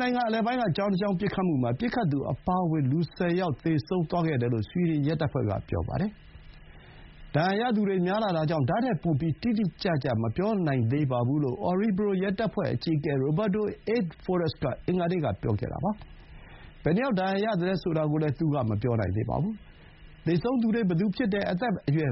နိုင်ငံ အလယ်ပိုင်းက ကျောင်းတကျောင်း ပစ်ခတ်မှုမှာ ပစ်ခတ်သူအပါအဝင် လူ ၁၀ ယောက် သေဆုံးသွားခဲ့တယ်လို့ ဆွီဒင်ရဲတပ်ဖွဲ့က ပြောပါတယ်။ ဒဏ်ရာရသူတွေ များလှတာကြောင့် ဒါ့ထက်ပိုပြီး တိတိကျကျ မပြောနိုင်သေးပါဘူးလို့ Orebro ရဲတပ်ဖွဲ့အကြီးအကဲ Roberto Eid Forest က အင်္ဂါနေ့က ပြောခဲ့တာပါ။ ဘယ်နှယောက် ဒဏ်ရာရသလဲ ဆိုတာကိုလည်း သူက မပြောနိုင်သေးပါဘူး။ သေဆုံးသူတွေ ဘယ်သူဖြစ်တယ်၊ အသက် ဘယ်အရွယ်